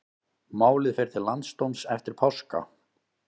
Málið fer til landsdóms eftir páska